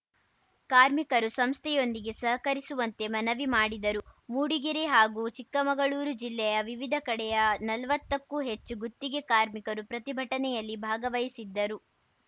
ಕಾರ್ಮಿಕರು ಸಂಸ್ಥೆಯೊಂದಿಗೆ ಸಹಕರಿಸುವಂತೆ ಮನವಿ ಮಾಡಿದರು ಮೂಡಿಗೆರೆ ಹಾಗೂ ಚಿಕ್ಕಮಗಳೂರು ಜಿಲ್ಲೆಯ ವಿವಿಧ ಕಡೆಯ ನಲ್ವತ್ತಕ್ಕೂ ಹೆಚ್ಚು ಗುತ್ತಿಗೆ ಕಾರ್ಮಿಕರು ಪ್ರತಿಭಟನೆಯಲ್ಲಿ ಭಾಗವಹಿಸಿದ್ದರು